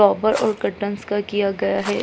और कर्टन्स का किया गया है